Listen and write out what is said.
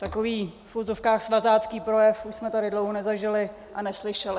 Takový v uvozovkách svazácký projev už jsme tady dlouho nezažili a neslyšeli.